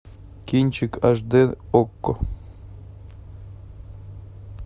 кинчик аш дэ окко